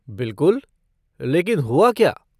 बिलकुल, लेकिन हुआ क्या?